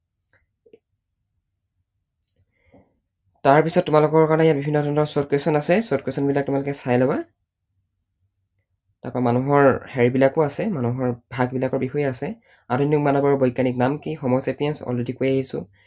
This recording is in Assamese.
তাৰপিছত তোমালোকৰ কাৰণে ইয়াত বিভিন্ন ধৰণৰ short question আছে, short question বিলাক তোমালোকে চাই লবা। তাৰপৰা মানুহৰ হেৰি বিলাকো আছে, মানুহৰ ভাগবিলাকৰ বিষয়েও আছে। আধুনিক মানৱৰ বৈজ্ঞানিক নাম কি, homo sapiens, already কৈয়েই আহিছো।